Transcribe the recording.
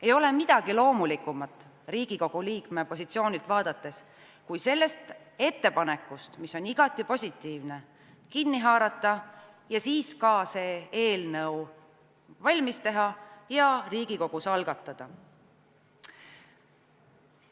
Ei ole midagi loomulikumat Riigikogu liikme positsioonilt vaadates kui see, et ettepanekust, mis on igati positiivne, kinni haarata ja siis see eelnõu valmis teha ja Riigikogus algatada.